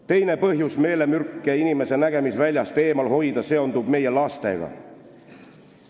Teine põhjus meelemürke inimese nägemisväljast eemal hoida seondub meie lastega.